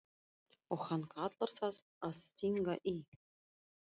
Og hann kallar það að stinga í.